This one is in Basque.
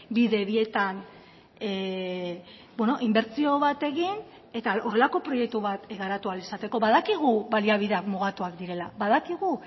bidebietan inbertsio bat egin eta horrelako proiektu bat garatu ahal izateko badakigu baliabideak mugatuak direla badakigu